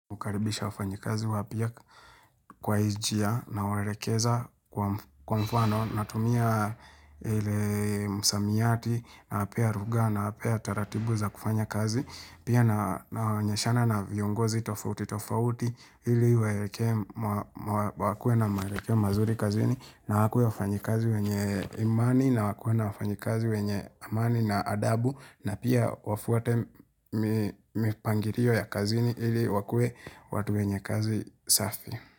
Hukaribisha wafanyikazi wapia kwa hii njia nawaelekeza kwa mfano Natumia ile msamiyati nawapea lugha nawapea taratibu za kufanya kazi Pia nawaonyeshana na viongozi tofauti tofauti Hili wakue na wakue na wakue mazuri kazini na wakue wafanyikazi wenye imani na wakue na wafanyikazi wenye amani na adabu na pia wafuate mipangirio ya kazini ili wakue watu wenye kazi safi.